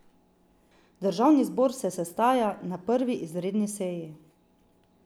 Državni zbor se sestaja na prvi izredni seji.